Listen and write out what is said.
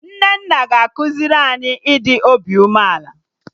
Nnenna ga-ekuzi anyị ịdị obi umeala